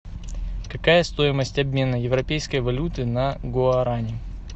какая стоимость обмена европейской валюты на гуарани